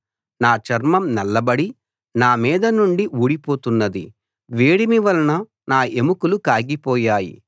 నా చర్మం నల్లబడి నా మీద నుండి ఊడిపోతున్నది వేడిమి వలన నా ఎముకలు కాగిపోయాయి